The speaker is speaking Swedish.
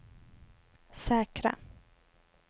säkra